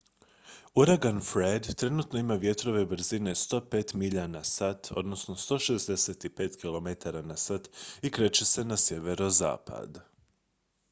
uragan fred trenutno ima vjetrove brzine 105 milja na sat 165 km/h i kreće se na sjeverozapad